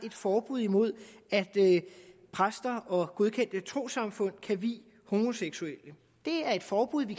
et forbud imod at præster og godkendte trossamfund kan vie homoseksuelle det er et forbud vi